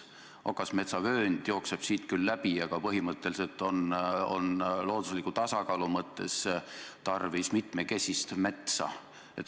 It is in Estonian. Okasmetsa vöönd jookseb siit küll läbi, aga põhimõtteliselt on loodusliku tasakaalu mõttes tarvis mitmekesist metsa.